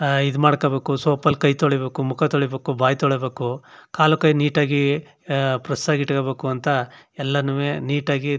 ಈದ್ ಮಾಡಕೋಬೇಕು ಸೋಪ್ ಅಲ್ಲಿ ಕೈ ತೋಳಿಬೇಕು ಮುಖ ತೋಳಿಬೇಕು ಬಾಯ್ ತೋಳಿಬೇಕು ಕಾಲುಕೈ ನೀಟ್ ಆಗಿ ಅಹ್ ಪ್ರೆಸ್ ಆಗಿ ಇಟ್ಟಕೊಬೇಕಂತ್ ಎಲ್ಲಾನೂವೆ ನೀಟ್ ಆಗಿ --